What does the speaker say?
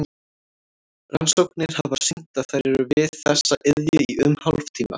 Rannsóknir hafa sýnt að þær eru við þessa iðju í um hálftíma.